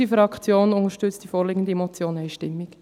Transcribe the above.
Unsere Fraktion unterstützt die vorliegende Motion einstimmig.